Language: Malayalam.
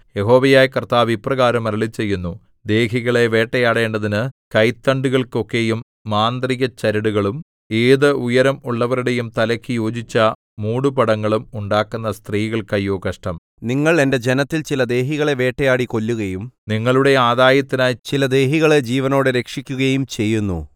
യഹോവയായ കർത്താവ് ഇപ്രകാരം അരുളിച്ചെയ്യുന്നു ദേഹികളെ വേട്ടയാടേണ്ടതിന് കൈത്തണ്ടുകൾക്ക് ഒക്കെയും മാന്ത്രികചരടുകളും ഏതു ഉയരം ഉള്ളവരുടെയും തലയ്ക്കു യോജിച്ച മൂടുപടങ്ങളും ഉണ്ടാക്കുന്ന സ്ത്രീകൾക്ക് അയ്യോ കഷ്ടം നിങ്ങൾ എന്റെ ജനത്തിൽ ചില ദേഹികളെ വേട്ടയാടി കൊല്ലുകയും നിങ്ങളുടെ ആദായത്തിനായി ചില ദേഹികളെ ജീവനോടെ രക്ഷിക്കുകയും ചെയ്യുന്നു